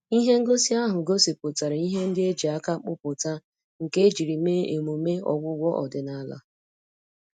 Ihe ngosi ahụ gosipụtara ihe ndị e ji aka kpụpụta nke ejiri mee emume ọgwụgwọ ọdịnala.